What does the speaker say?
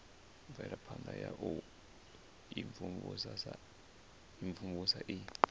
mvelaphana ya u imvumvusa i